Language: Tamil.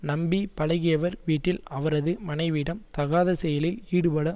நம்பி பழகியவர் வீட்டில் அவரது மனைவியிடம் தகாத செயலில் ஈடுபட